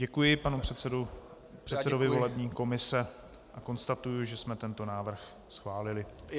Děkuji panu předsedovi volební komise a konstatuji, že jsme tento návrh schválili.